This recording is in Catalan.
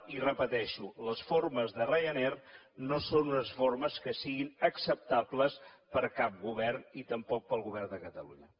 i ho repeteixo les formes de ryanair no són unes formes que siguin acceptables per cap govern i tampoc pel govern de catalunya